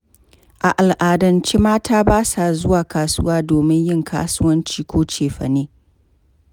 A al'adance mata basa zuwa kasuwa domin yin kasuwanci ko cefane.